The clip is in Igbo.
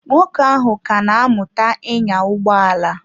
Nwoke ahụ ka na-amụta ịnya ụgbọ ala.